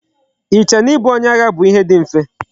I che na I bu onye agha bu ihe di mfe?